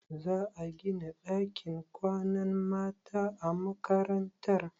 Za a gina ɗakin kwanan mata a makarantar?